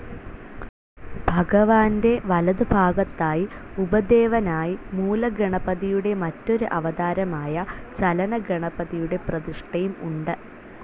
ഭഗവാന്റെ വലതുഭാഗത്തായി ഉപദേവനായി മൂലഗണപതിയുടെ മറ്റൊരു അവതാരമായ ചലനഗണപതിയുടെ പ്രതിഷ്ഠയും ഉണ്ട്.